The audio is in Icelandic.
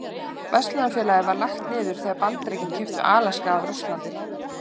Verslunarfélagið var lagt niður þegar Bandaríkin keyptu Alaska af Rússlandi.